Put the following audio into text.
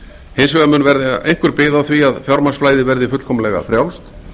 hins vegar mun verða einhver bið á því að fjármagnsflæði verði fullkomlega frjálst